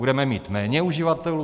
Budeme mít méně uživatelů?